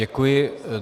Děkuji.